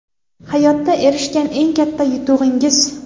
Hayotda erishgan eng katta yutug‘ingiz?